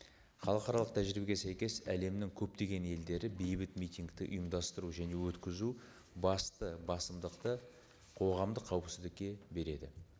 халықаралық тәжірибеге сәйкес әлемнің көптеген елдері бейбіт митингті ұйымдастыру және өткізу басты басымдықты қоғамдық қауіпсіздікке береді